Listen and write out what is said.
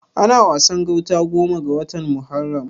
Ana Wasan gauta goma ga watan Muharram.